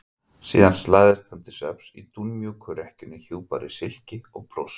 Síðan lagðist hann til svefns í dúnmjúka rekkjuna hjúpaður í silki og pluss.